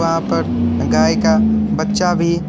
यहां पर गाय का बच्चा भी--